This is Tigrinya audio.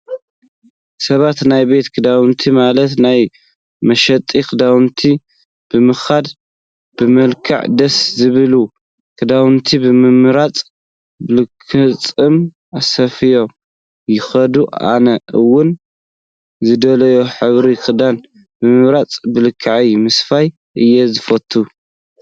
ሰባት ናብ ቤት ክዳውንቲ ማለት ናብ መሸጢ ክዳውንቲ ብምኻድ በመልክዑ ደስ ዝበሎም ክዳውንቲ ብምምራፅ ብልክዖም ኣስፍዮም ይኽደኑ። ኣነ እውን ዝደልዮ ህብሪ ክዳን ብምምራፅ ብልክዐ ምስፋይ እየ ዝፈትው።